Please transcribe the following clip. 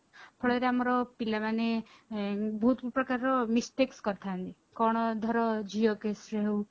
ଫଳରେ ଆମର ପିଲା ମାନେ ବହୁତ ପ୍ରକାରର mistake କରିଥାନ୍ତି କଣ ଧର ଝିଅ caseରେ ହଉ